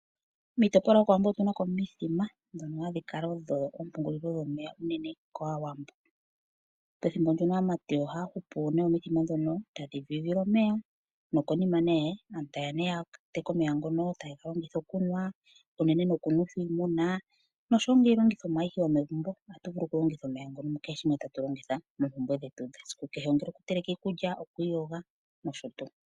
Miitopolwa yokowambo otunako omithima, dhono hadhikala odho ompungulilo dhomeya unene kaawambo. Pethimbo ndono aamati ohaahupu omithima dhono tadhidhidhile omeya, nokonima nee, aantu tayeya ne yateke omeya ngono tayegalongitha okunwa, unene nokunwetha iimuna, nosho ngeyi iilongithomwa ayihe yomegumbo atuvulu okulongitha omeya ngono mukeshe shimwe tatulongitha moompumbwe dhetu dhesikukehe. Ongele okuteleka iikulya, nokwiiyoga, nosho tuu.